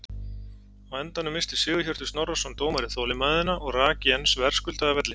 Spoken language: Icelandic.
Á endanum missti Sigurhjörtur Snorrason dómari þolinmæðina og rak Jens verðskuldað af velli.